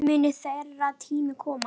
Mun þeirra tími koma?